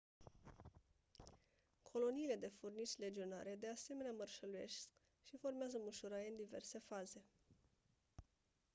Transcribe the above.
coloniile de furnici legionare de asemenea mărșăluiesc și formează mușuroaie în diverse faze